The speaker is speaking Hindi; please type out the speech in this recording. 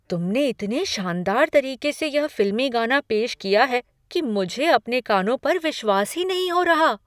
तुमने इतने शानदार तरीके से यह फिल्मी गाना पेश किया है कि मुझे अपने कानों पर विश्वास ही नहीं हो रहा।